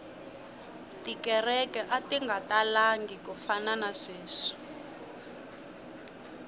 tikereke ati nga talangi ku fana na sweswi